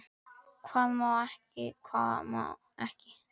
Hvað má og hvað ekki.